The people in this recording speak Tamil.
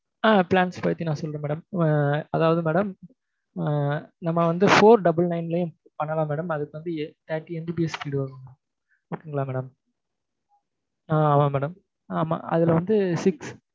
ஆஹ் plans பத்தி நான் சொல்றேன் madam ஹம் அதாவது madam ஆஹ் நம்ம வந்து four double nine லயும் பண்ணலாம் madam அதுக்கு வந்து thirty MBPS speed வரும் madam okay ங்களா madam ஆஹ் ஆமாம் madam ஆமா அதுல வந்து six